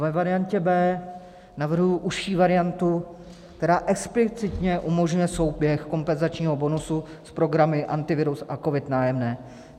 Ve variantě B navrhuji užší variantu, která explicitně umožňuje souběh kompenzačního bonusu s programy Antivirus a COVID - Nájemné.